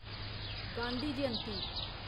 Gandhi Jayanti